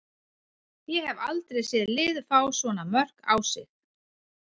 Ég hef aldrei séð lið fá svona mörk á sig.